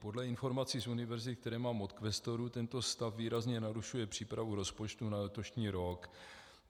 Podle informací z univerzit, které mám od kvestorů, tento stav výrazně narušuje přípravu rozpočtu na letošní rok.